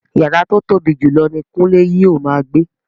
Yàrá tó tóbi jùlọ ni Kunle yóò máa gbé